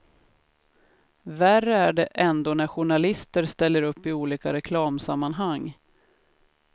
Värre är det ändå när journalister ställer upp i olika reklamsammanhang.